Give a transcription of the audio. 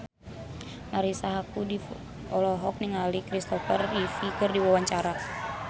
Marisa Haque olohok ningali Christopher Reeve keur diwawancara